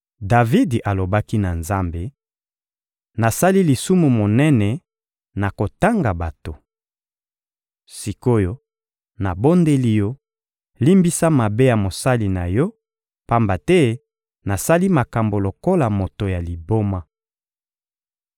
Davidi alobaki na Nzambe: — Nasali lisumu monene na kotanga bato. Sik’oyo, nabondeli Yo, limbisa mabe ya mosali na Yo; pamba te nasali makambo lokola moto ya liboma.